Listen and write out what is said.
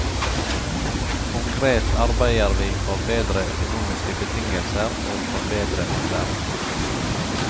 Konkret arbeider vi for bedre økonomiske betingelser og for bedre opplæring.